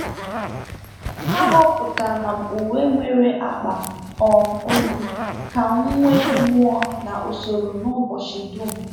Ahọpụtara m uwe nwere akpa um olu ka m nwee mmụọ na usoro n'ụbọchị dum.